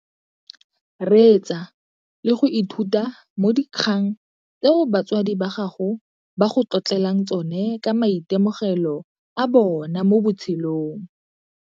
Reetsa le go ithuta mo dikgang tseo batsadi ba gago ba go tlotlelang tsone ka maitemogelo a bona mo botshelong.